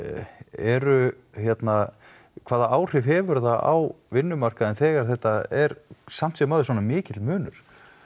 eru hérna hvaða áhrif hefur það á vinnumarkaðinn þegar þetta er samt sem áður svona mikill munur